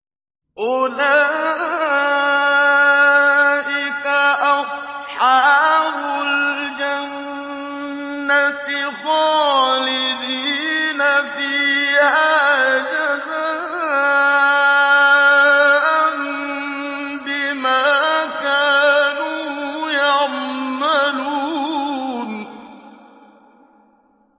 أُولَٰئِكَ أَصْحَابُ الْجَنَّةِ خَالِدِينَ فِيهَا جَزَاءً بِمَا كَانُوا يَعْمَلُونَ